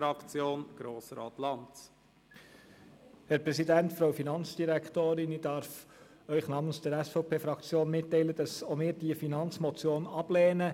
Ich darf Ihnen namens der SVP-Fraktion mitteilen, dass auch wir diese Finanzmotion ablehnen.